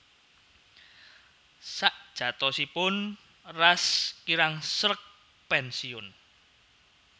Sajatosipun Ras kirang sreg pénsiun